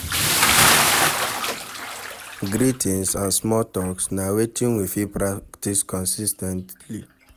Greetings and small talks na wetin we fit practice consis ten tly